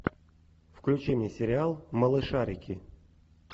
включи мне сериал малышарики